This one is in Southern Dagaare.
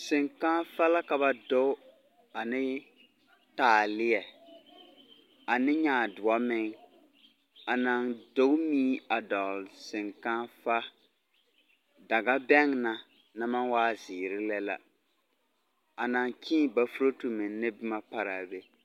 Seŋkããfa la ka ba doe, ane taaleɛ. Ane nyaadoɔ meŋ. A naŋ doge mui a dɔgle seŋkããfa. Dagabɛŋ na, naŋ maŋ waa zeere lɛ la. A naŋ kyẽẽ bafurotu meŋ ne boma paraa be.